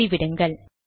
மூடி விடுங்கள்